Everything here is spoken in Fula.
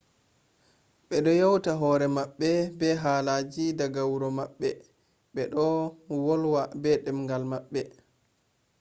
bedo yauta hore mabbe be halaji daga wuro mabbe bedo volwa be demgal mabbe